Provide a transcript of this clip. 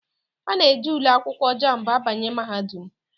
Ana eji ule akwụkwọ Jambụ abanye mahadum.